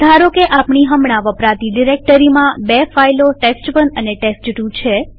ધારોકે આપણી હમણાં વપરાતી ડિરેક્ટરીમાં બે ફાઈલોtest1 અને ટેસ્ટ2 છે